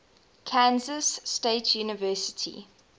kansas state university